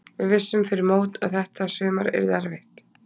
Við vissum fyrir mót að þetta sumar yrði erfitt.